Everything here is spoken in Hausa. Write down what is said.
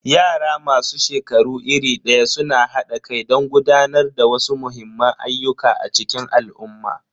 Yara masu shekaru iri daya suna hada kai don gudanar da wasu muhimman ayyuka a cikin al'umma.